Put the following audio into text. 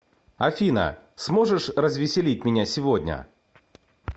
афина сможешь развеселить меня сегодня